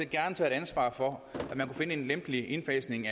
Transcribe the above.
gerne tage et ansvar for at finde en lempelig indfasning